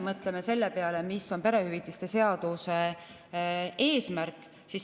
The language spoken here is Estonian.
Mõtleme selle peale, mis on perehüvitiste seaduse muudatuse eesmärk.